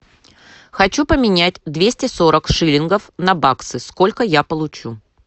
хочу поменять двести сорок шиллингов на баксы сколько я получу